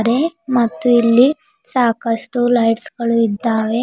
ನೆ ಮತ್ತು ಇಲ್ಲಿ ಸಾಕಷ್ಟು ಲೈಟ್ಸ್ ಗಳು ಇದ್ದಾವೆ.